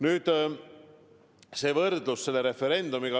Nüüd, võrdlus selle referendumiga.